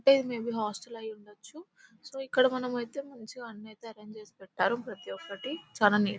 అంటే ఇది maybe hostel అయ్యుండొచ్చు సో ఇక్కడ మనమైతే అన్ని మంచిగా అరేంజ్ చేసి పెట్టారు ప్రతి ఒక్కటి చాలా నీట్ --